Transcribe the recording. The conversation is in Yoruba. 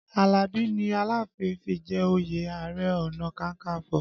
Alabi ni Aláàfin fi jẹ òye Ààrẹ ọ̀nà kakanfo